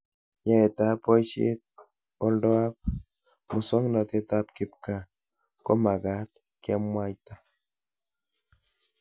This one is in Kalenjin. Yaetab boishetab oldoab muswonotetab kipkaa komagat kemwata